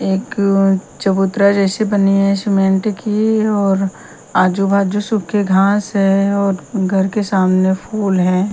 एक चबूतरा जैसे बनी है सीमेंट की और आजू बाजू सूखे घास है और घर के सामने फुल है।